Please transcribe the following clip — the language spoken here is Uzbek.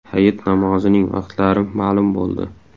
Hayit namozining vaqtlari ma’lum bo‘ldi.